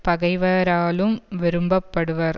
பகைவராலும் விரும்ப படுவர்